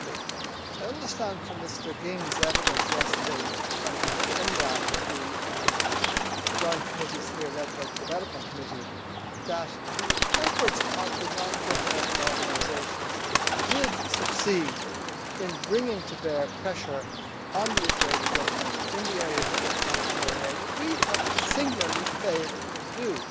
Secondly, I understand from Mr Ging's evidence yesterday from UNRWA to the joint committees, led by the Development Committee, that the efforts by non governmental organisations did succeed in bringing to bear pressure on the Israeli Government in the area of humanitarian aid, which we have singularly failed to do.